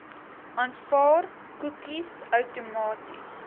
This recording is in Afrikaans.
aanvaar koekies outomaties